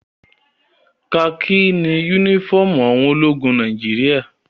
Kakí ni únífọ́ọ́mù àwọn ologun Nàìjíríà.